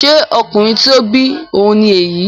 Ṣé ọkùnrin tí ó bí ọ ni èyí?